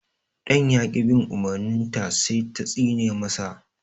Ɗan ya ƙi bin umurnin ta sai ta tsine ma sa